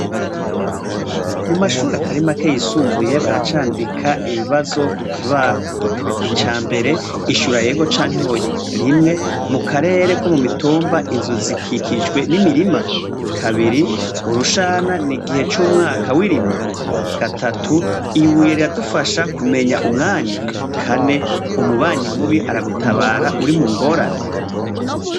Mu mashuri atari make yisumbuye baracandika ibibazo ku kibaho. Ica mbere: "ishura ego canke oya : 1 mu karere ko mu mitumba, inzu zikikijwe n'imirima ?; 2: urushana ni igihe c'umwaka w'irima ?; 3: ibuye riradufasha kumenya umwanya ? 4: umubanyi mubi aragutabara uri mu ngorane ?".